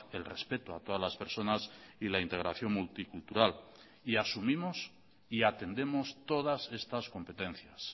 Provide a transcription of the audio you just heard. el respeto a todas las personas y la integración multicultural y asumimos y atendemos todas estas competencias